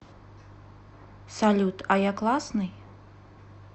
салют а я классный